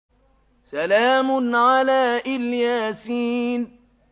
سَلَامٌ عَلَىٰ إِلْ يَاسِينَ